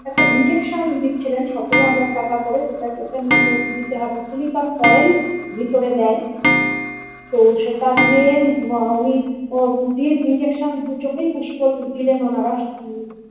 একটা injection দিচ্ছিলেন সতেরো হাজার টাকা করে যেটা পেশেন্ট দের দিতে হবে silicon oil ভিতরে দেয় তো সেটা দিয়ে বা উনি ও দিয়ে ইঞ্জেকশান দু চোখেই পুষ করে দিলেন ওনারা।